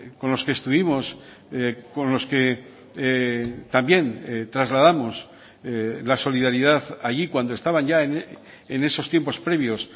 con los que estuvimos con los que también trasladamos la solidaridad allí cuando estaban ya en esos tiempos previos